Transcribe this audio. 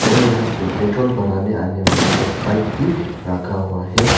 और यहां पे पेट्रोल भराने आने वाला एक बाइक भी रखा हुआ है।